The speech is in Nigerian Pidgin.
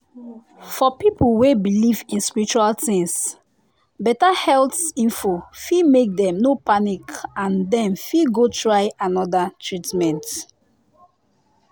for people wey believe in spiritual things better health info fit make dem no panic and dem fit go try other treatment.